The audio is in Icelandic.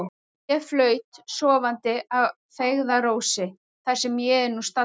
Ég flaut sofandi að feigðarósi, þar sem ég er nú staddur.